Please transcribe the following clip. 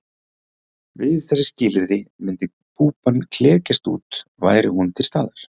Við þessi skilyrði myndi púpan klekjast út væri hún til staðar.